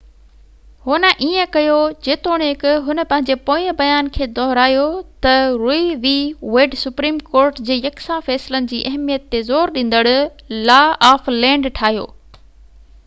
هن ائين ڪيو جيتوڻيڪ هن پنهنجي پوئين بيان کي دهرايو ته Roe v Wade supreme court جي يڪسان فيصلن جي اهميت تي زور ڏيندڙ لا آف لينڊ ٺاهيو